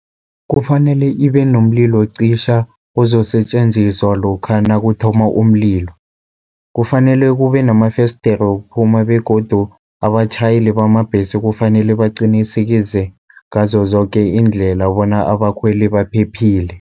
Kufanele ibe nomlilo cisha uzosetjenziswa lokha nakuthoma umlilo. Kufanele kube namafesdere wokuphuma begodu abatjhayeli bamabhesi, kufanele baqinisekeze ngazo zoke iindlela bona abakhweli baphephile.